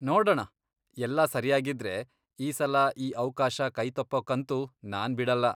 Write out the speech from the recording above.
ನೋಡಣ, ಎಲ್ಲ ಸರಿಯಾಗಿದ್ರೆ, ಈ ಸಲ ಈ ಅವ್ಕಾಶ ಕೈತಪ್ಪೋಕ್ಕಂತೂ ನಾನ್ ಬಿಡಲ್ಲ.